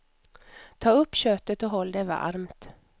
Ta upp köttet och håll det varmt.